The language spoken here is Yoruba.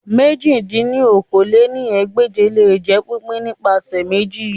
èjì dín ní okòó-lé-ní-ẹgbẹ́je le jẹ pipin nipasẹ meji